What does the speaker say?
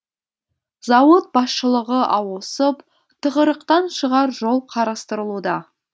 зауыт басшылығы ауысып тығырықтан шығар жол қарастырылуда